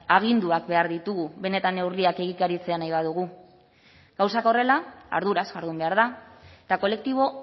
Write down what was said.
aginduak behar ditugu benetan neurriak egikaritzea nahi badugu gauzak horrela arduraz jardun behar da eta kolektibo